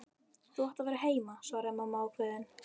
Þú átt að vera heima, svaraði mamma ákveðin.